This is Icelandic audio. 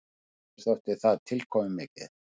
Mér þótti það tilkomumikið.